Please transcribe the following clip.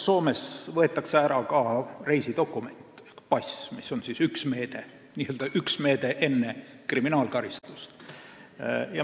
Soomes võetakse näiteks ära ka reisidokument ehk pass, mis on üks meede enne kriminaalkaristust.